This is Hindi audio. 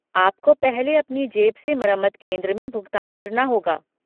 आपको पहले अपनी जेब से मरम्मत केंद्र में भुगतान भरना होगा।